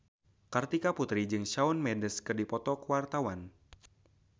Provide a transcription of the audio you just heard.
Kartika Putri jeung Shawn Mendes keur dipoto ku wartawan